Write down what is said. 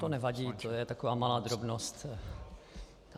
To nevadí, to je taková malá drobnost.